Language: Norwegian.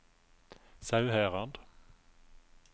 Sauherad